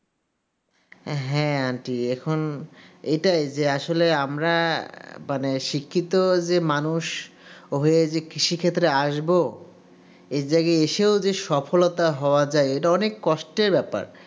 হ্যাঁ aunty এখন এটাই যে আসলে আমরা মানে শিক্ষিত যে মানুষ যে কৃষিক্ষেত্রে আসবো এ জায়গায় যে আছে সফলতা হওয়ার যে এটা অনেক কষ্টের ব্যাপার.